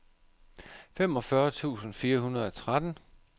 femogfyrre tusind fire hundrede og tretten